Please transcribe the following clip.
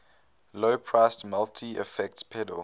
low priced multi effects pedal